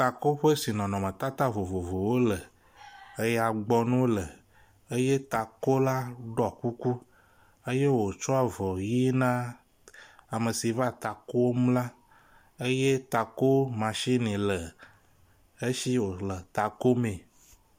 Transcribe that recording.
Takoƒe si nɔnɔmetata vovovowo le eyagbɔŋu le eye takola ɖɔ kuku eye wotsɔ avɔ ʋi na ame si va takom na ye takomasini le esi wo le ta komee.